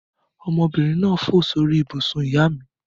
Ọmọbìnrin náà fò sórí ibùsùn ìyá mi.